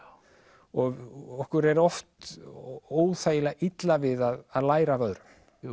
og okkur er oft óþægilega illa við að læra af öðrum